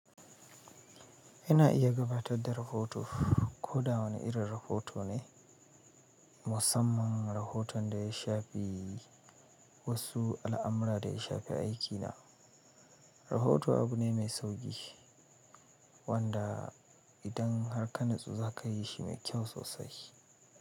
Ina iya gabatar da rahoto. Ko da wani irin rahoto ne, musamman rahoton da ya shafi wasu al'amura da ya shafi aikina. Rahoto abu ne mai sauƙi wanda idan har ka natsu za ka yi shi mai kyau sosai.